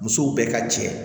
Musow bɛɛ ka jɛ